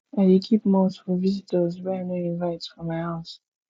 i dey keep malt for visitors wey i no invite for my house